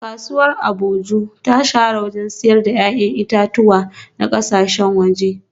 Kasuwar Agboju ta shahara wajen siyar da ‘ya’yan itatuwa na kasashen waje